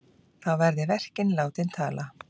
Þá verði verkin látin tala.